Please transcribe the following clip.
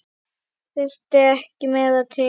Þurfti ekki meira til.